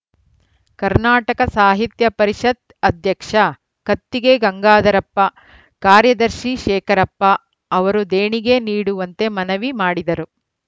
ಕನ್ನಡ ಸಾಹಿತ್ಯ ಪರಿಷತ್ ಅಧ್ಯಕ್ಷ ಕತ್ತಿಗೆ ಗಂಗಾಧರಪ್ಪ ಕಾರ್ಯದರ್ಶಿ ಶೇಖರಪ್ಪ ಅವರು ದೇಣಿಗೆ ನೀಡುವಂತೆ ಮನವಿ ಮಾಡಿದರು